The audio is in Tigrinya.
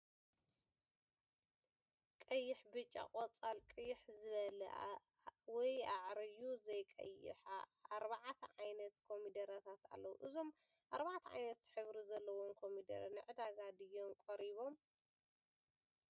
ቀይሕ፣ ብጫ ፣ ቆፃል፣ ቅይሕ ዝበለ ወይ ኣዕርዩ ዘይቀይሐ ኣርባዕተ ዓይነት ኮሚደረታት ኣለዉ፡፡ እዞም ኣርባዕተ ዓይነት ሕብሪ ዘለዎም ኮሚደረ ንዕዳጋ ድዮም ቀሪቦም?